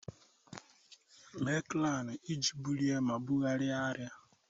Mee kranu iji bulie ma bugharịa arịa.